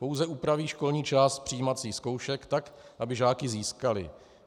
Pouze upraví školní část přijímacích zkoušek tak, aby žáky získaly.